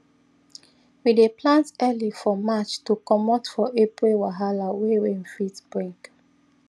we dey plant early for march to comot for april wahala wey rain fit bring